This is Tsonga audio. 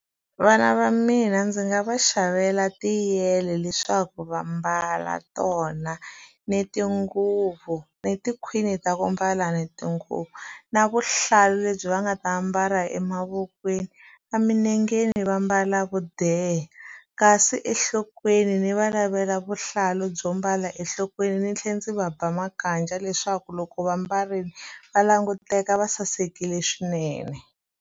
Vana va mina ndzi nga va xavela tiyele leswaku va mbala tona ni tinguvu ni tikhwini ta ku mbala ni tinguvu na vuhlalu lebyi va nga ta ambala emavokweni emilengeni va mbala vudeha kasi enhlokweni ni va lavela vuhlalu byo mbala enhlokweni ndzi tlhela ndzi va ba makaja leswaku loko va mbarile va languteka va sasekile swinene.